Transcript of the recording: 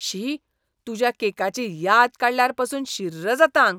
शी, तुज्या केकाची याद काडल्यार पासून शिर्र जाता आंग.